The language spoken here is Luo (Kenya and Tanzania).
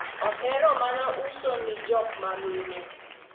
ohero mana uso ni jok mamine